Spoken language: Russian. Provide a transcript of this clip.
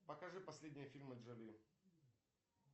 покажи последние фильмы джоли